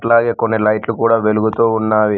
అలాగే కొన్ని లైట్లు కూడా వెలుగుతూ ఉన్నావి.